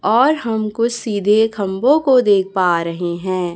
और हम को सीधे खंभों को देख पा रहे हैं।